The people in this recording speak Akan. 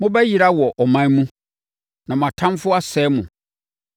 Mobɛyera wɔ aman mu, na mo atamfoɔ asɛe mo.